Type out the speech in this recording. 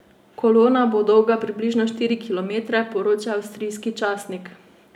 Kolona bo dolga približno štiri kilometre, poroča avstrijski časnik.